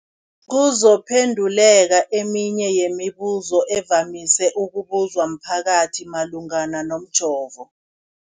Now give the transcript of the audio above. kuzokuphe nduleka eminye yemibu zo evamise ukubuzwa mphakathi malungana nomjovo.